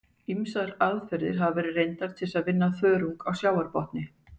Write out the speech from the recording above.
Ýmsar aðferðir hafa verið reyndar til að vinna þörunga af sjávarbotni.